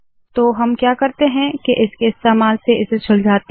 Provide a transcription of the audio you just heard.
तो हम क्या करते है के इसके इस्तेमाल से इसे सुलझाते है